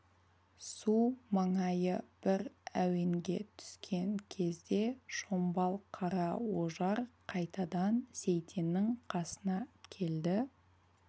су маңайы бір әуенге түскен кезде шомбал қара ожар қайтадан сейтеннің қасына келді